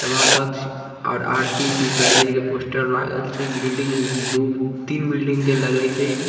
सभा कक्ष और आर.सी. इंटरप्राइजेज के पोस्टर लागल छै | बिल्डिंग दू तीन बिल्डिंग के लागइ छै |